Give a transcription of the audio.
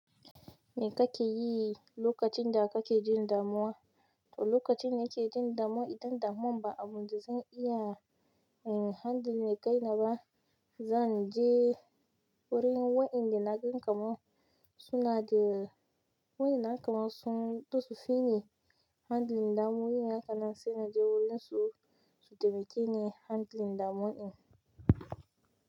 Me ka ke yi lokacin da ka ke jin damuwa? To lokacin da ke jin damuwa idan damuwan ba abun da zan iya handling kai na ba, zan je wurin wayanda naga kaman suna da wayanda na kaman sun do sosai ne handling damuwa, wayanda na san na je wurin su su taimake ni handling damuwa in.